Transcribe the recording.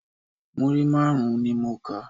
Múrí márùn-ún ni mo kà.